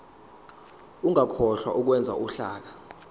ungakhohlwa ukwenza uhlaka